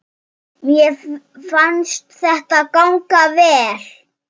Mér fannst þetta ganga vel.